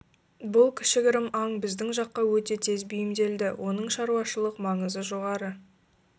бұл кішігірім аң біздің жаққа өте тез бейімделді оның шаруашылық маңызы жоғары